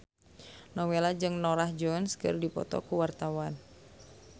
Nowela jeung Norah Jones keur dipoto ku wartawan